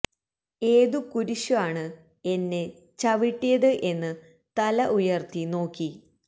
ഏതു കുരിശു ആണ് എന്നെ ചവിട്ടിയത് എന്ന് തല ഉയർത്തി നോക്കി